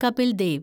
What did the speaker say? Kapil Dev